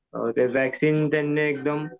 ते वॅक्सीन त्यांनी एकदम